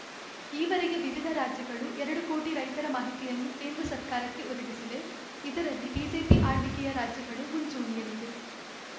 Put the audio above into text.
ಈವರೆಗೆ ವಿವಿಧ ರಾಜ್ಯಗಳು ಎರಡು ಕೋಟಿ ರೈತರ ಮಾಹಿತಿಯನ್ನು ಕೇಂದ್ರ ಸರ್ಕಾರಕ್ಕೆ ಒದಗಿಸಿವೆ ಇದರಲ್ಲಿ ಬಿಜೆಪಿ ಆಳ್ವಿಕೆಯ ರಾಜ್ಯಗಳು ಮುಂಚೂಣಿಯಲ್ಲಿವೆ